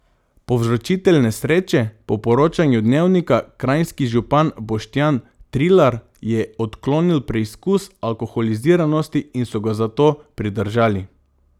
Povzročitelj nesreče, po poročanju Dnevnika kranjski župan Boštjan Trilar, je odklonil preizkus alkoholiziranosti in so ga zato pridržali.